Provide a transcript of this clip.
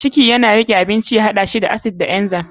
ciki yana riƙe abincin ya haɗa shi da acid da enzymes.